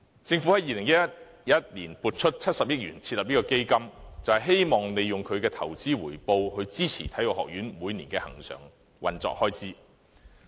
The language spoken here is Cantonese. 政府在2011年撥出70億元設立基金，就是希望利用其投資回報，支持香港體育學院每年的恆常運作開支。